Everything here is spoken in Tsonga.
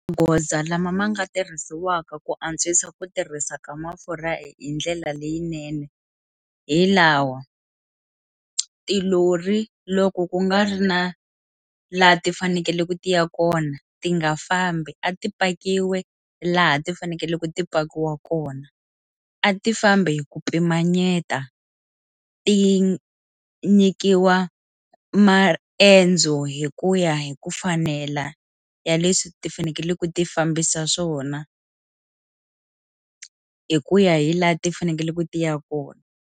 Magoza lama ma nga tirhisiwaka ku antswisa ku tirhisa ka mafurha hi ndlela leyinene hi lawa tilori loko ku nga ri na laha ti fanekele ku ti ya kona ti nga fambi a ti pakiwe laha ti fanekele ku ti pakiwaka kona a ti fambi hi ku pimanyeta ti nyikiwa maendzo hi ku ya hi ku fanela ya leswi ti fanekele ku ti fambisa swona hi ku ya hi laha ti fanekele ku ya kona.